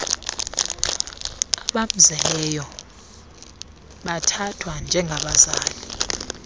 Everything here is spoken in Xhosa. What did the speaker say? abamzeleyo abathathwa njengabazali